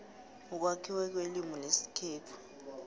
ukwakhiwa kwelimu lesikhethu